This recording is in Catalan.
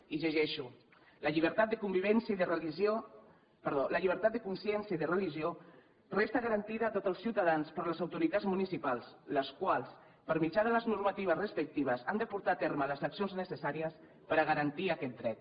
i ho llegeixo la llibertat de consciència i de religió resta garantida a tots els ciutadans per les autoritats municipals les quals per mitjà de les normatives respectives han de portar a terme les accions necessàries per a garantir aquest dret